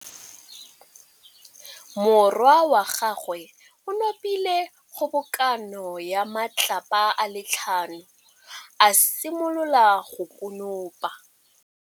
Morwa wa gagwe o nopile kgobokanô ya matlapa a le tlhano, a simolola go konopa.